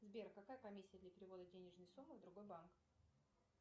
сбер какая комиссия для перевода денежной суммы в другой банк